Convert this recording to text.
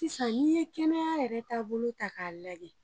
Sisan ni ye kɛnɛya yɛrɛ taa bolo ta ka lajɛ.